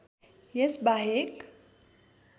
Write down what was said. यस बाहेक